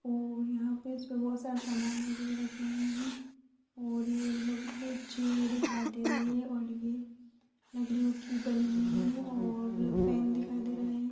यहां पर बहुत सारे सामान वगेरा रखे हुए हैं और ये हम लोग को जेल दिखाइ दे रही है ये लकड़ियों की बनी हुई है या फैन दिखायी दे रहा है।